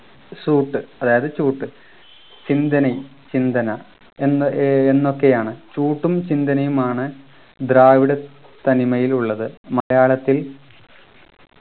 suit അതായത് ചൂട്ട് സിന്തനയ് ചിന്തന എന്നോ ഏർ എന്നൊക്കെയാണ് ചൂട്ടും ചിന്തനയുമാണ് ദ്രാവിഡ തനിമയിൽ ഉള്ളത് മലയാളത്തിൽ